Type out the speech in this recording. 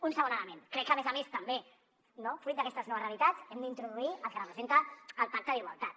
un segon element crec que a més a més també fruit d’aquestes noves realitats hem d’introduir el que representa el pacte d’igualtat